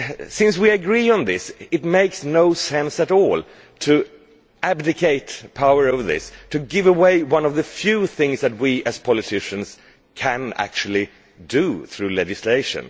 Since we agree on this, it makes no sense at all to abdicate power over this and to give away one of the few things that we, as politicians, can actually do through legislation.